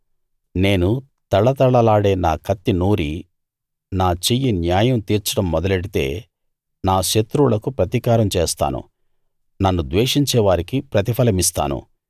నేను తళతళలాడే నా కత్తి నూరి నా చెయ్యి న్యాయం తీర్చడం మొదలెడితే నా శత్రువులకు ప్రతీకారం చేస్తాను నన్ను ద్వేషించే వారికి ప్రతిఫలమిస్తాను